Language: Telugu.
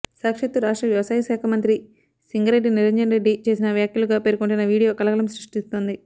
సాక్షాత్తూ రాష్ట్ర వ్యవసాయ శాఖ మంత్రి సింగరెడ్డి నిరంజన్ రెడ్డి చేసిన వ్యాఖ్యలుగా పేర్కొంటున్న వీడియో కలకలం సృష్టిస్తోంది